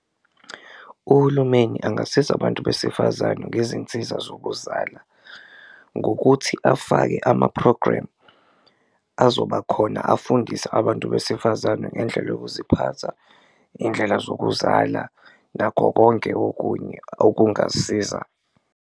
Uhulumeni angasiza abantu besifazane ngezinsiza zokuzala ngokuthi afake ama-program azoba khona afundise abantu besifazane ngendlela yokuziphatha, i.ndlela zokuzala, nakho konke okunye okungasiza.